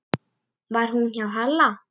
Var hún hjá Halla?